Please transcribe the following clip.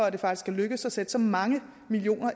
at det faktisk er lykkedes at sætte så mange